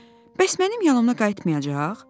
Bəs mənim yanıma qayıtmayacaq?